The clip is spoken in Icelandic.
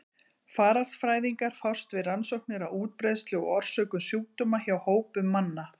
Faraldsfræðingar fást við rannsóknir á útbreiðslu og orsökum sjúkdóma hjá hópum manna.